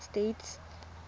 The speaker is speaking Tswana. states